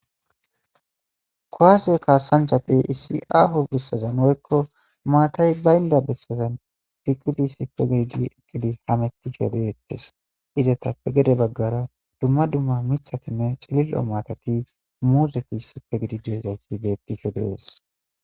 Kowase kaasanchate issi aaho bissazanoykko maatay baynda bessazen piqudi sipe gididi eqqidi hametishodeettes iza tappe gede baggara dumma dumma mithatinne cilil'o matati muuzekissipe gididi ezayssi bettisho dees.